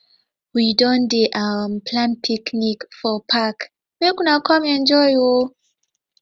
we don dey um plan picnic for park make una come enjoy o